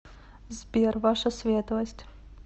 сбер ваша светлость